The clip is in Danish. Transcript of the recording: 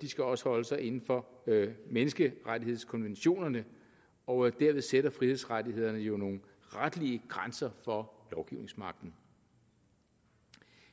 de skal også holde sig inden for menneskerettighedskonventionerne og derved sætter frihedsrettighederne jo nogle retlige grænser for lovgivningsmagten